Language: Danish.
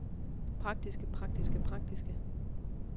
praktiske praktiske praktiske